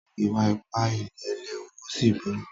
Ìwà-ipá ilé léwu ó sì burú.